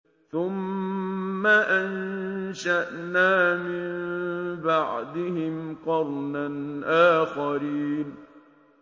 ثُمَّ أَنشَأْنَا مِن بَعْدِهِمْ قَرْنًا آخَرِينَ